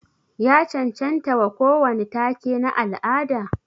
Ya cancancta wa kowani take na al'ada?